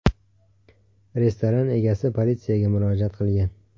Restoran egasi politsiyaga murojaat qilgan.